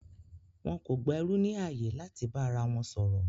Wọn kò gba ẹrú ní ààyè láti bá ara wọn sọ̀rọ̀